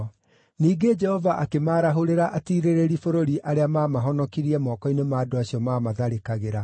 Ningĩ Jehova akĩmaarahũrĩra atiirĩrĩri bũrũri arĩa maamahonokirie moko-inĩ ma andũ acio maamatharĩkagĩra.